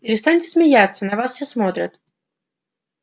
перестаньте смеяться на вас все смотрят